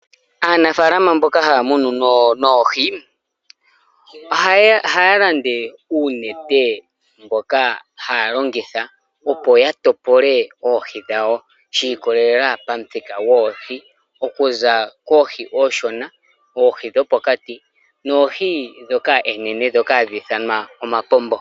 Aanafaalama mboka ha ya munu oohi, oha ya landa uunete, mboka ha ya longitha opo ya tekule oohi dhawo. Shiikolela pamuthika gwoohi. Okuza koohi ooshona, oohi dhopokati, noohi oonene dhoka ha dhi ithanwa omapombo.